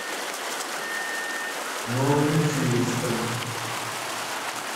новомичуринском